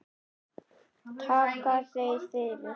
Takka þér fyrir